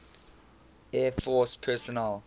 air force personnel